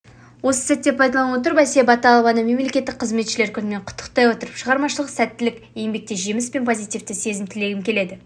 осы сәтті пайдалана отыра әсия баталованы мемлекеттік қызметшілер күнімен құттықтай отыра шығармашылық сәттілік еңбекте жеміс пен позитивті сезім тілегім келеді